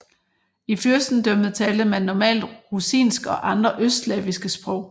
I fyrstendømmet talte man normalt rusinsk og andre østslaviske sprog